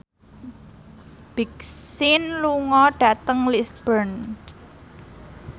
Big Sean lunga dhateng Lisburn